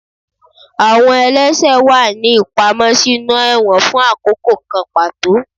Awọn ẹlẹṣẹ wa ni ipamọ sinú ẹwọ́n fun akoko kan pató.